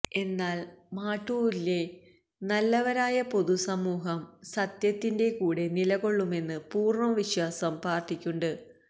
എന്നാല് മാട്ടൂലിലെ നല്ലവരായ പൊതുസമൂഹം സത്യത്തിന്റെ കൂടെ നിലകൊള്ളുമെന്ന പൂര്ണ്ണ വിശ്വാസം പാര്ട്ടിക്കുണ്ട്